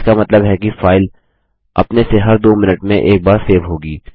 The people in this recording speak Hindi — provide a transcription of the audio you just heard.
इसका मतलब है कि फाइल अपने से हर दो मिनट में एक बार सेव होगी